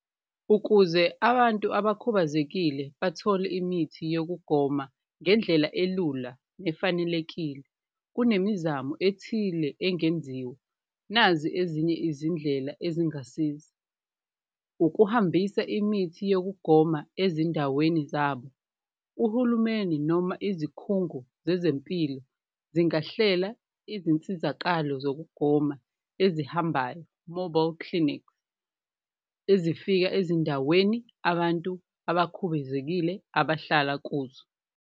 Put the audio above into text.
Ukuze abantu abakhubazekile bathole imithi yokugoma ngendlela elula nefanelekile, kunemizamo ethile engenziwa, nazi ezinye izindlela ezingasiza, ukuhambisa imithi yokugoma ezindaweni zabo, uhulumeni noma izikhungo zezempilo zingahlela izinsizakalo zokugoma ezihambayo, mobile clinic. Ezifika ezindaweni abantu abakhubazekile abahlala kuzo.